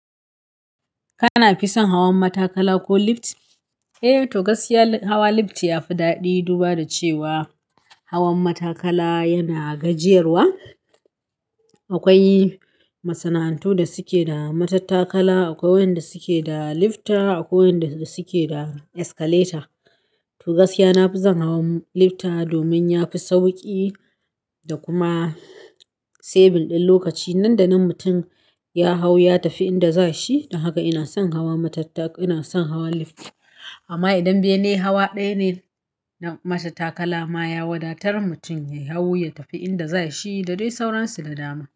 Kana fi son hawan matattakala ko lift? Eh, to gaskiya hawa lift yafi daɗi duba da cewa hawan matattakala yana gajiyarwa. Akwai masana'antu da suke da matattakala, akwai wanda suke da lifta, akwai wanda suke da escalator. To gaskiya nafison hawan lifta domin yafi sauƙi da kuma saving din lokaci. Nan da nan mutum ya hau ya tafi inda za shi, don haka ina son hawan lift. Amma idan bene hawa ɗaya ne na matattakala ma ya wadatar mutum ya hau ya tafi inda za shi da dai sauransu da dama.